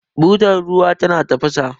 butar ruwa tana tafasa